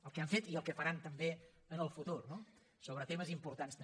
el que han fet i el que faran també en el futur no sobre temes importants també